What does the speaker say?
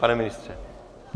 Pane ministře?